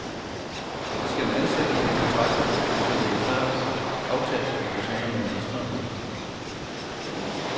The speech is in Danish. De skal ansættes på kontrakter, så det er klart aftalt, at de forsvinder med ministeren.